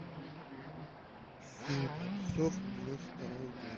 фильм про псов девяносто второго года